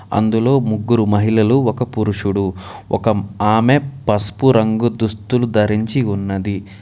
అందులో ముగ్గురు మహిళలు ఒక పురుషుడు. ఒక ఆమె పసుపు రంగు దుస్తులు ధరించి ఉన్నది.